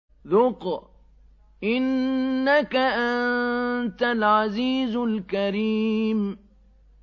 ذُقْ إِنَّكَ أَنتَ الْعَزِيزُ الْكَرِيمُ